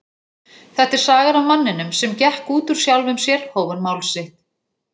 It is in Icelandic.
Þetta er sagan af manninum sem gekk út úr sjálfum sér hóf hann mál sitt.